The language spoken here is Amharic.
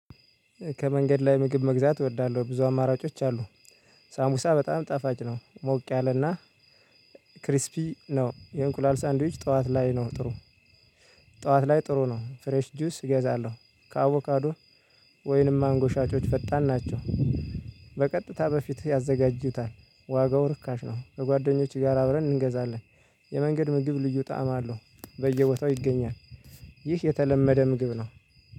ከመንገድ ላይ ምግብ መግዛት እወዳለሁ ብዙ አማራጮች አሉ። ሳንቡሳ በጣም ጣፋጭ ነው ሞቅ ያለና ክሪስፒ ነው። የእንቁላል ሳንድዊች ጠዋት ላይ ነው ጥሩ። ጠዋት ላይ ጥሩ ነው። ፍሬሽ ጁስ እገዛለሁ። ከአቮካዶ ወይንም ማንጎ ሻጮች ፈጣን ናቸው። በቀጥታ በፊት ያዘጋጁታል። ዋጋው ርካሽ ነው። ከጓደኞችህ ጋር አብረን እንገዛለን። የመንገድ ምግብ ልዩ ጣዕም አለው። በየቦታው ይገኛል። ይህ የተለመደ ምግብ ነው።